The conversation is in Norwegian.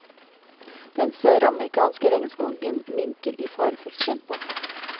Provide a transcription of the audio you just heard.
Den søramerikanske regnskogen minker i farefullt tempo.